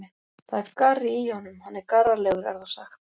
Það er garri í honum, hann er garralegur er þá sagt.